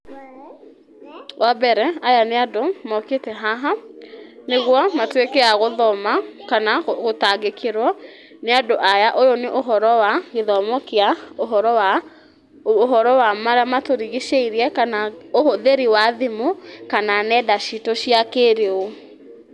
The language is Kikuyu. Wa mbere, aya nĩ andũ mokĩte haha, nĩguo matuĩke a gũthoma kana gũtangĩkĩrwo, nĩ andũ aya. Ũyũ nĩ ũhoro wa gĩthomo kĩa ũhoro wa, ũhoro wa marĩa matũrigicĩirie, kana ũhũthĩri wa thimũ, kana nenda citũ cia kĩrĩu.